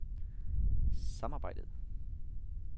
samarbejdet